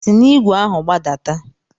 Si n'igwe ahu gbadata!